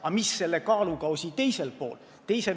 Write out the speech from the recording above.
Aga mis on teisel kaalukausil?